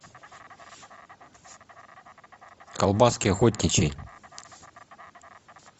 колбаски охотничьи